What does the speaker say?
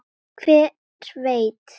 Hver veit